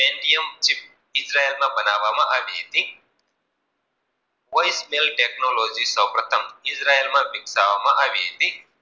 બનાવવા માં આવી હતી. કોઈક ઇજરાયલ માં વિકસવા માં આવી હતી